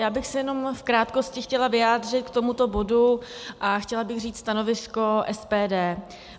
Já bych se jenom v krátkosti chtěla vyjádřit k tomuto bodu a chtěla bych říct stanovisko SPD.